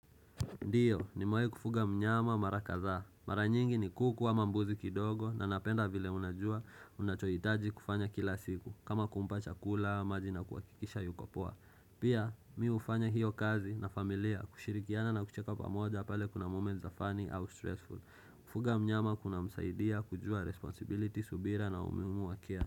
Ndiyo nimawahi kufuga mnyama mara kadha. Mara nyingi ni kuku ama mbuzi kidogo na napenda vile unajua unachoitaji kufanya kila siku. Kama kumpa chakula, maji na kuwakikisha yuko poa. Pia mi ufanya hiyo kazi na familia kushirikiana na kucheka pamoja pale kuna moment za funny au stressful. Kufuga mnyama kuna msaidia kujua responsibility subira na umuhimu wa care.